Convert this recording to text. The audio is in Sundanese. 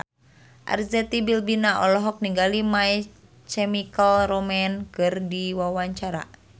Arzetti Bilbina olohok ningali My Chemical Romance keur diwawancara